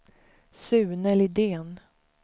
Sune Lidén